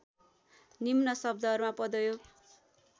निम्न शब्दहरूमा पदयोग